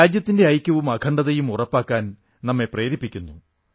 രാജ്യത്തിന്റെ ഐക്യവും അഖണ്ഡതയും ഉറപ്പാക്കാൻ നമ്മെ പ്രേരിപ്പിക്കുന്നു